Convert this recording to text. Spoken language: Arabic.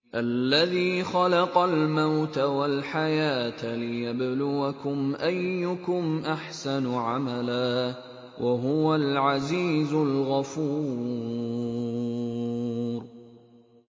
الَّذِي خَلَقَ الْمَوْتَ وَالْحَيَاةَ لِيَبْلُوَكُمْ أَيُّكُمْ أَحْسَنُ عَمَلًا ۚ وَهُوَ الْعَزِيزُ الْغَفُورُ